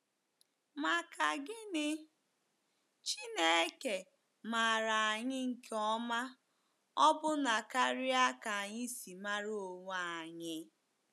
Maka gini, Chineke maara anyị nke ọma ọbụna karịa ka anyị si mara onwe anyị!